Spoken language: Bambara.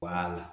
Wala